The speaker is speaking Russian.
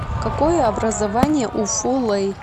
какое образование у фу лэй